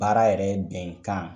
Baara yɛrɛ bɛnkan